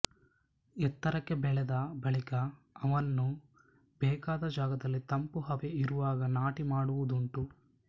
ಎತ್ತರಕ್ಕೆ ಬೆಳೆದ ಬಳಿಕ ಅವನ್ನು ಬೇಕಾದ ಜಾಗದಲ್ಲಿ ತಂಪು ಹವೆ ಇರುವಾಗ ನಾಟಿ ಮಾಡುವುದುಂಟು